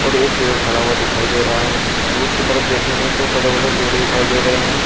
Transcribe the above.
और एक पेड़ खड़ा हुआ दिखाई दे रहा है। दूर की तरफ देखेंगे तो बड़े बड़े पेड़ दिखाई दे रहे हैं।